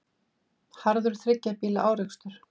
Harður þriggja bíla árekstur